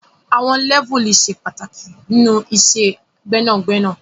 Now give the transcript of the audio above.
Àwon Lẹ́vùlì se pàtàkì nínú iṣẹ gbẹnagbẹna